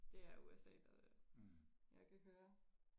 det er USA det der jeg kan høre